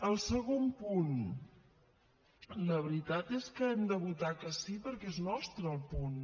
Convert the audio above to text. el segon punt la veritat és que hem de votar que sí perquè és nostre el punt